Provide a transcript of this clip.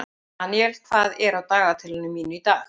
Daniel, hvað er á dagatalinu mínu í dag?